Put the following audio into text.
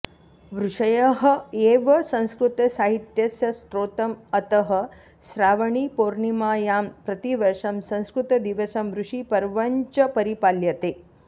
ऋषयः एव संस्कृतसाहित्यस्य स्रोतम् अतः श्रावणीपौर्णिमायां प्रतिवर्षं संस्कृतदिवसं ऋषिपर्वञ्च परिपाल्यते